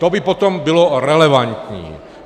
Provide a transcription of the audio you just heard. To by potom bylo relevantní.